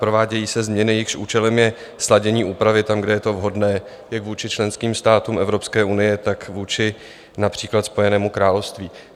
Provádějí se změny, jejichž účelem je sladění úpravy tam, kde je to vhodné, jak vůči členským státům Evropské unie, tak vůči například Spojenému království.